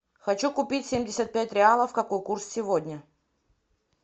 хочу купить семьдесят пять реалов какой курс сегодня